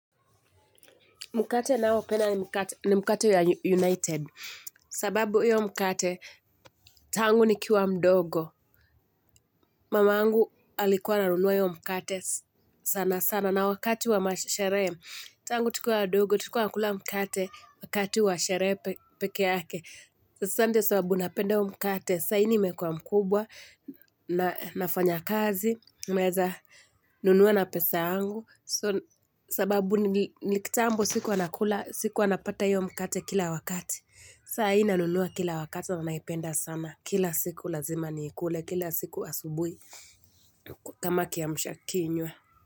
Mkate naopenda ni mkate ya United. Sababu hiyo mkate, tangu nikiwa mdogo. Mamangu alikuwa anunuwa hiyo mkate sana sana. Na wakati wa masherehe, tangu tukiwa wadogo, tukiwa tunakula mkate wakati wa sherehe pekee ake. Sant sababu napenda huo mkate, saini meuwa mkubwa, nafanya kazi, naezanunua na pesa yngu sababu nikitambo sikuwana kula siku wana pata hiyo mkate kila wakati sahi na nunua kila wakati naipenda sana kila siku lazima nikule kila siku asubuhi kama kiamsha kinywa.